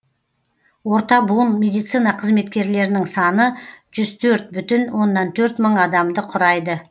орта буын медицина қызметкерлерінің саны жүз төрт бүтін оннан төрт мың адамды құрайды